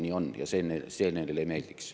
Nii on ja see neile ei meeldiks.